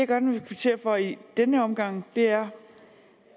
gerne vil kvittere for i den her omgang er